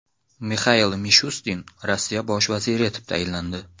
Mixail Mishustin Rossiya bosh vaziri etib tayinlandi.